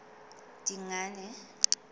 dingane